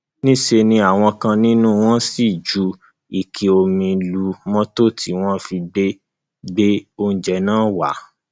níṣẹ ni àwọn kan nínú wọn ṣì ń ju ike omi lu mọtò tí wọn fi gbé gbé oúnjẹ náà wá